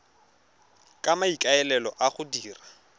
ka maikaelelo a go dira